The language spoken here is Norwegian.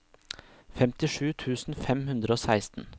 femtisju tusen fem hundre og seksten